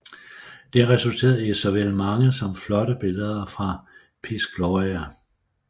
Det resulterede i såvel mange som flotte billeder fra Piz Gloria